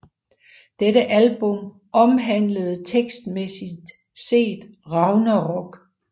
Dette album omhandlede tekstmæssigt set Ragnarok